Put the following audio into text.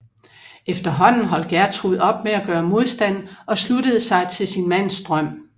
Efterhånden holdt Gjertrud op med at gøre modstand og sluttede sig til sin mands drøm